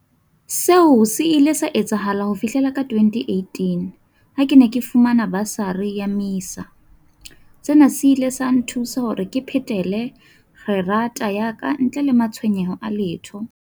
Seo se nnile sa etsahala ho fihlela ka 2018 ha ke ne ke fumana basari ya MISA. Sena se ile sa nthusa hore ke phethele kgerata ya ka ntle le matshwenyeho a letho.